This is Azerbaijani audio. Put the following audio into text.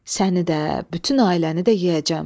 Səni də, bütün ailəni də yeyəcəm.